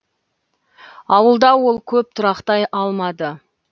ауылда ол көп тұрақтай алмады